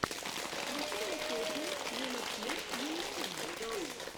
включи мне песни юнитим юнитим